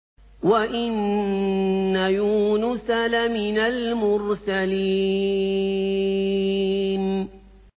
وَإِنَّ يُونُسَ لَمِنَ الْمُرْسَلِينَ